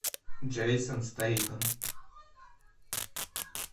джейсон стейтем